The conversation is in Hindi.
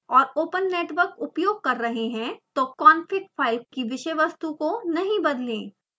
और ओपन नेटवर्क उपयोग कर रहे हैं तो config file की विषय वस्तु को नहीं बदलें